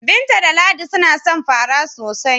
Binta da Ladi suna son fara sosai.